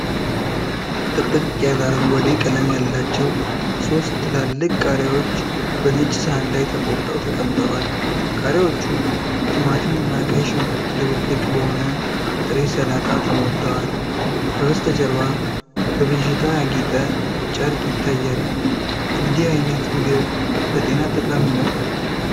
ጥቅጥቅ ያለ አረንጓዴ ቀለም ያላቸው ሦስት ትላልቅ ቃሪያዎች በነጭ ሳህን ላይ ተቆርጠው ተቀምጠዋል። ቃሪያዎቹ ቲማቲም እና ቀይ ሽንኩርት ድብልቅ በሆነ ጥሬ ሰላጣ ተሞልተዋል። ከበስተጀርባ በብዥታ ያጌጠ ጨርቅ ይታያል፤ እንዲህ አይነት ምግብ ለጤና ጠቃሚ ነው?